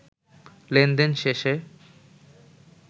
লেনদেন শেষে